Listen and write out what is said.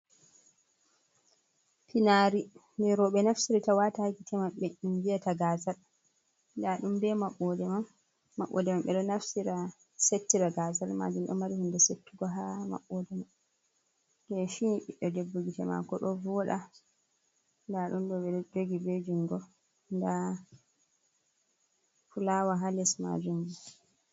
Finari je roɓɓe naftirita wata ha gitte maɓɓe ɗum viyata gazal, nda ɗum be maɓode man maɓɓode man ɓe ɗo naftira settira gazal majum ɗo mari hunde settugo ha maɓɓode keshi ɓido debbo gitte mako ɗo voɗa nda ɗum ɗo ɓe ɗo jogi ɓe jungo, nda fulawa ha les majum bo.